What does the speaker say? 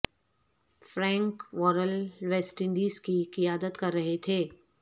Frank Worrell West Indies کی قیادت کر رہے تھے